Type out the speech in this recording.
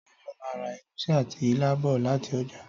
Táyọ̀ máa ra ègúsí àti ilá bọ̀ láti ọjà